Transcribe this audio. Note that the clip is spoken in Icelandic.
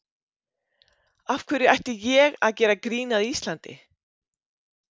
Af hverju ætti ég að gera grín að Íslandi?